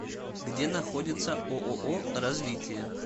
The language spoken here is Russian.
где находится ооо развитие